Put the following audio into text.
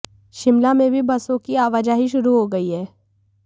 शिमला में भी बसों की आवाजाही शुरू हो गई है